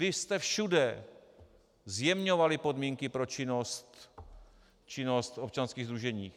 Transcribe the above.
Vy jste všude zjemňovali podmínky pro činnost občanských sdružení.